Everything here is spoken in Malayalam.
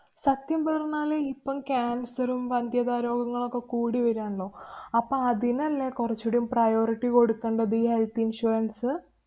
സത്യം പറഞ്ഞാല് ഇപ്പോള്‍ cancer ഉം, വന്ധ്യതാ രോഗങ്ങളൊക്കെ കൂടി വരാണല്ലൊ. അപ്പ അതിനല്ലേ കൊറച്ചൂടീം priority കൊടുക്കണ്ടത് ഈ health insurance?